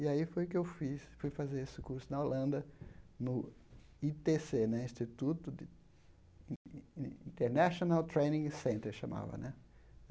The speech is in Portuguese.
E aí foi que eu fiz, fui fazer esse curso na Holanda, no i tê cê né, Instituto de International Training Center, chamava, né?